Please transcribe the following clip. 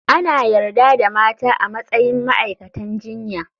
Ana yarda da mata a matsayin ma'aikatan jinya.